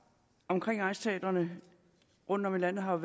omkring egnsteatrene rundtom i landet har